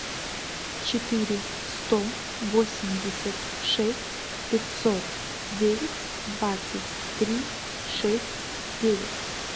четыре сто восемьдесят шесть пятьсот девять двадцать три шесть девять